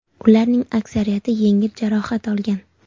Ularning aksariyati yengil jarohat olgan.